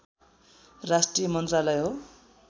राष्ट्रिय मन्त्रालय हो